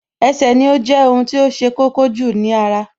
Ẹsẹ̀ ni ó jẹ́ ohun tí ṣe kókó jù ní ara